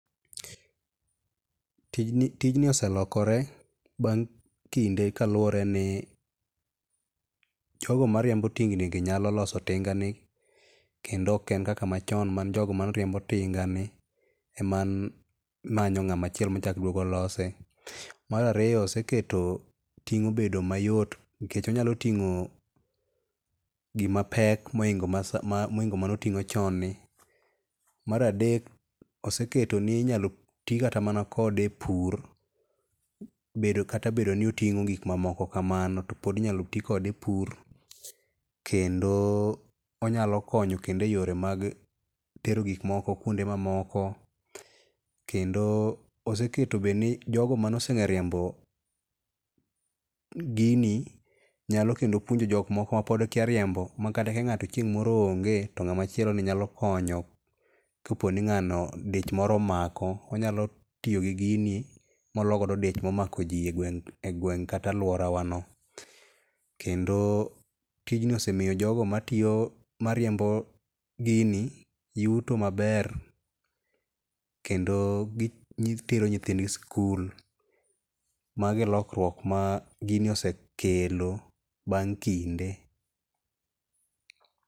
Tijni oselokore bang kinde kaluore ni jogo mariembo tingni ngi yalo loso tinga ni kendo oken kaka machon man jogo mane riembo tinga ni ema ne manyo joma lose. Mar ariyo oseketo ting obedo mayot nikech onyalo tingo gima pek mohingo mane otingo chon ni Mar adek oseketo ni inyalo tii kata mana kode e pur bedo kata ni otingo gik mamoko kamano topod inyalo tii kode e pur kendo onyalo konyo kendo e yore mag tero gikmoko e kuonde mamoko. Kendo oseketo be ni jogo mane ose ongeyo riembo gini nyalo kendo puonjo jok moko mapod kia riembo makata ka ngato chieng moro onge to ngama chielo nyalo konyo kaponi dich moro omako onyalo tiyo gi gini mologo dich momako jii egweng kata aluora wa no.Kendo tijni osemiyo jogo matiyo, mariembo gini yuto maber kendo gitero nyithigi e skul. Mano e lokruok ma gini osekelo bang kinde